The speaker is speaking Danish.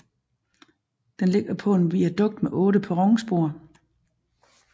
Den ligger på en viadukt med otte perronspor